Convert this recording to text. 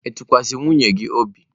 Ị tụkwasịrị nwunye gị obi?